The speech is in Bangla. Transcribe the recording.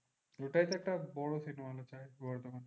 ওটাই তো একটা বড় cinema hall আছে বর্ধমান।